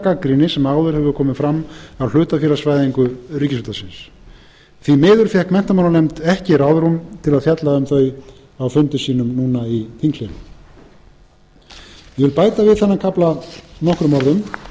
gagnrýni sem áður hefur komið fram við hlutafélagsvæðingu ríkisútvarpsins því miður fékk menntamálanefnd ekki ráðrúm til að fjalla um þau á fundi sínum núna í þinghléi ég vil bæta við þennan kafla nokkrum